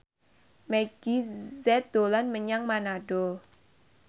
Meggie Z dolan menyang Manado